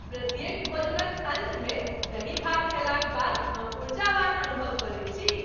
प्रत्येक भोजनक अन्तमे दही भात खयलाक बाद हम ऊर्जावान अनुभव करैत छी।